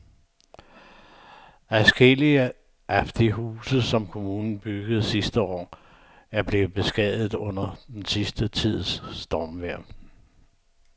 Adskillige af de huse, som kommunen byggede sidste år, er blevet beskadiget under den sidste tids stormvejr.